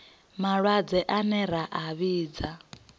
malwadze ane ra a vhidza